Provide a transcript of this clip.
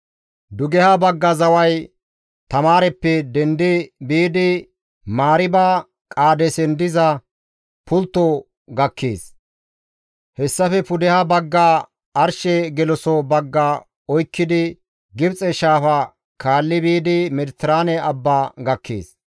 «Dugeha bagga zaway Taamaareppe dendi biidi, Mariiba Qaadeesen diza pulttozan gakkees. Hessafe pudeha baggafe arshe geloso bagga oykkidi Gibxe Shaafa kaalli biidi Mediteraane Abba gakkees.